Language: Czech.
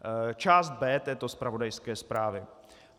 Část B této zpravodajské zprávy.